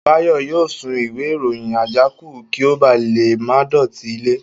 Báyọ̀ yóò sun ìwé ìròyìn àjákù kí ó ba lè má dọ̀tí ilẹ̀